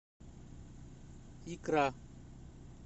икра